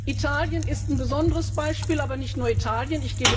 Italien ist ein besonderes Beispiel, aber nicht nur Italien.